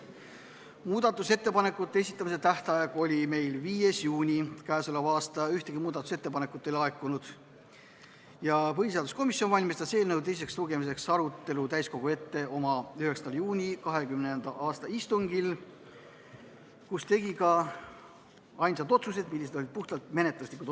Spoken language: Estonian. Muudatusettepanekute esitamise tähtaeg oli 5. juuni k.a. Ühtegi muudatusettepanekut ei laekunud ja põhiseaduskomisjon valmistas eelnõu teiseks lugemiseks ette oma 9. juuni 2020. aasta istungil, kus tegi ka ainsad otsused, mis kõik olid puhtalt menetluslikud.